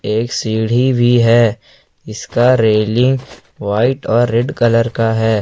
एक सीढ़ी भी है जिसका रेलिंग व्हाइट और रेड कलर का है।